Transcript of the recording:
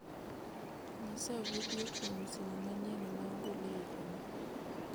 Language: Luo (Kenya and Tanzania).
nyisa vidio kuom simu manyien ma ogol e higa ni